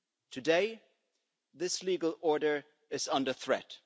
Today, this legal order is under threat.